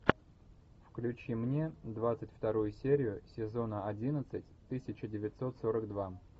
включи мне двадцать вторую серию сезона одиннадцать тысяча девятьсот сорок два